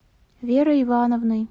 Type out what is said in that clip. верой ивановной